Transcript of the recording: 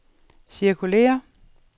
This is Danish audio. cirkulér